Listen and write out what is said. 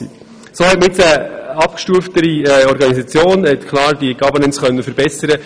So hat man nun eine abgestuftere Organisation und konnte die Gover nance klar verbessern.